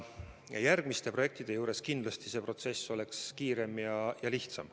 Järgmiste projektide korral oleks see protsess kindlasti kiirem ja lihtsam.